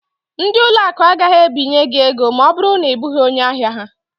Ndị ụlọ akụ agaghị ebinye gị ego ma ọ bụrụ na ị bụghị onye ahia ha.